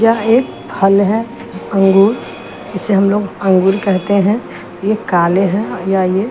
या एक फल हैं अंगूर इसे हम लोग अंगूर कहते हैं ये काले हैं या ये--